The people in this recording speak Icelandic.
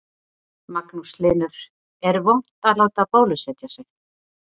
Magnús Hlynur: Er vont að láta bólusetja sig?